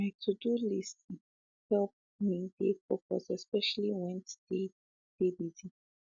my todo list um help um me dey focused especially went dey de busy